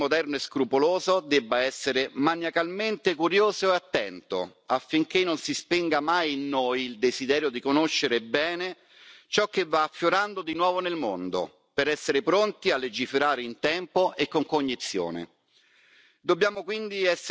Credo fortemente che il legislatore moderno e scrupoloso debba essere maniacalmente curioso e attento affinché non si spenga mai in noi il desiderio di conoscere bene ciò che va affiorando di nuovo nel mondo, per essere pronti a legiferare in tempo e con cognizione.